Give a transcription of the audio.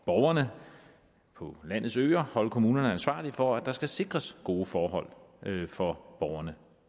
borgerne på landets øer holde kommunerne ansvarlige for at der skal sikres gode forhold for borgerne